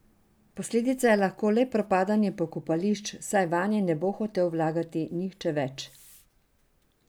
Posledica je lahko le propadanje pokopališč, saj vanje ne bo hotel vlagati nihče več.